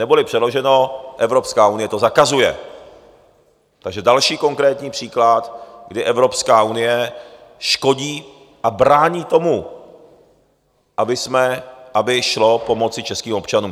Neboli přeloženo - Evropská unie to zakazuje, takže další konkrétní příklad, kdy Evropská unie škodí a brání tomu, aby šlo pomoci českým občanům.